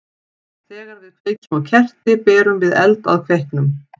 Þegar við kveikjum á kerti berum við eld að kveiknum.